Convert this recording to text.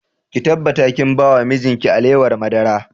Ki tabbata ki ba wa mijin ki alewar madara!